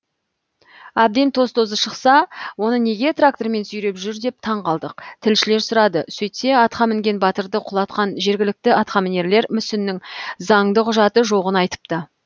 әбден тоз тозы шықса оны неге трактормен сүйреп жүр деп таң қалдық тілшілер сұрады сөйтсе атқа мінген батырды құлатқан жергілікті атқамінерлер мүсіннің заңды құжаты жоғын айтыпты